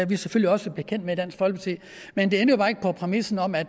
vi selvfølgelig også bekendt med i dansk folkeparti men det ændrer bare ikke på præmissen om at